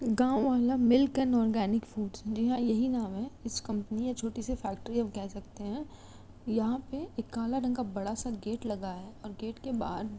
गावं वाला मिलकर ओरगनिक फ्रूट्स यही नाम है इस कंपनी है छोटी सी फैक्ट्री आप कहे सकते है। यहां पे काला रंग का एक गेट लगा है और गेट के बाहर --